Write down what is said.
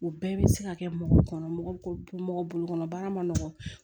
O bɛɛ bɛ se ka kɛ mɔgɔ kɔnɔ mɔgɔ bɛ mɔgɔ bolo kɔnɔ baara ma nɔgɔn